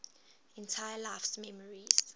entire life's memories